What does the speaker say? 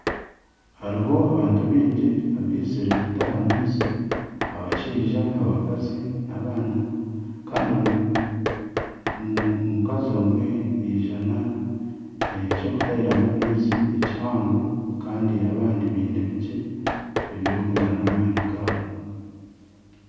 Hariho abantu baingi abaizire kutaha amaizi, abashaija abakazi n'abaana kandi omukazi omwe yaizana eky'okutahiramu amaizi ekihango kandi abandi baine bikye ebirikwingana n'amaani gaabo